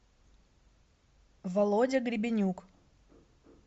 володя грибенюк